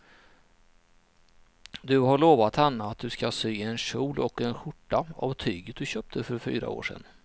Du har lovat henne att du ska sy en kjol och skjorta av tyget du köpte för fyra år sedan.